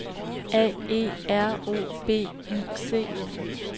A E R O B I C